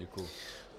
Děkuji.